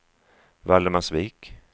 Valdemarsvik